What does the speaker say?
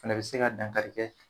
O fana bi se ka dankari kɛ